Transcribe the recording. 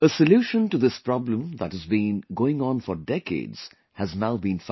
A solution to this problem that has been going on for decades has now been found